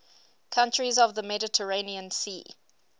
countries of the mediterranean sea